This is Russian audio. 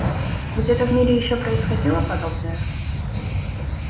где-то в мире ещё происходило подобное